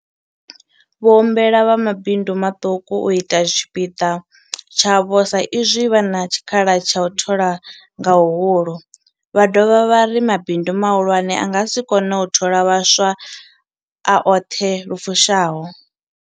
Vho humbela vha mabindu maṱuku u ita tshipiḓa tshavho sa izwi vha na tshikhala tsha u thola nga huhulu, vha dovha vha ri mabindu mahulwane a nga si kone u thola vhaswa a oṱhe lu fushaho.